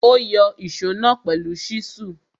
Ó yọ ìsó náà pẹ̀lú ṣísù.